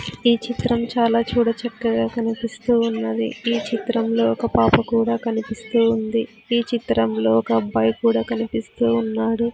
ఈ చిత్రం చాలా చూడ చక్కగా కనిపిస్తూ ఉన్నది ఈ చిత్రంలో ఒక పాప కూడా కనిపిస్తూ ఉంది ఈ చిత్రంలో ఒక అబ్బాయి కూడా కనిపిస్తూ ఉన్నారు.